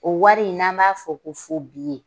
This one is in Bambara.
O wari in n'an b'a fɔ ko